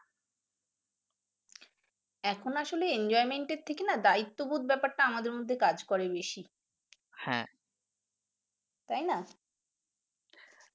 এখন আসলে enjoyment এর থেকে নাহ দ্বায়িত্ববোধ ব্যাপারটা আমাদের মধ্যে কাজ করে বেশী তাইনা